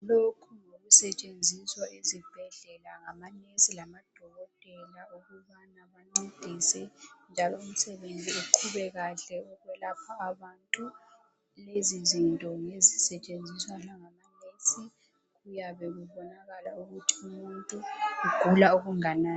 Lokhu ngokusetshenziswa ezibhedlela ngamanesi labodokotela ukubana bancedise njalo umsebenzi uqhube kahle ukwelapha abantu lezi zinto ngezisetshenziswa langamanesi kuyabe kubonakala ukuthi umuntu ugula okunganani.